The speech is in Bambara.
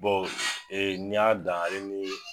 Bɔn n' y'a dan alee